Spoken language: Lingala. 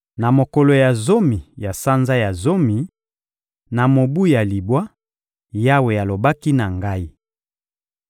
Na mokolo ya zomi ya sanza ya zomi, na mobu ya libwa, Yawe alobaki na ngai: